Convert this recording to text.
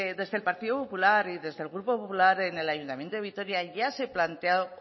desde el partido popular y desde el grupo popular en el ayuntamiento de vitoria ya se planteó